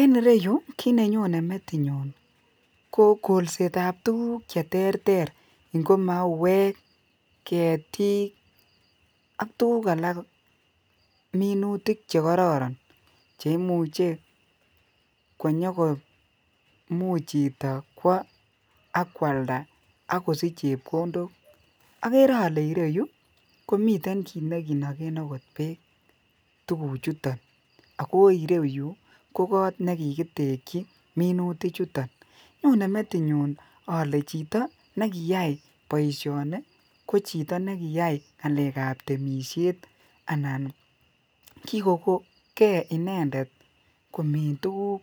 En ireyuu kit nenyone metinyun ko kolset tab tukuk cheterter ko mauwek ketik ak tukuk alak minutik chekororon che imuche konyokomuch chito kwo ak kwalda ak kosich chepkondok okere ole ireyuu komiten kit nekinoken beek tukuk chuton ako ireyuu ko kot nekikiteki minutik chuton, Nyone metinyun ole chito nekiyai boishoni kochito nekiyai ngalek ab temishet anan kikokongee inendet komin tukuk